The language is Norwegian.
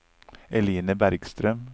Eline Bergstrøm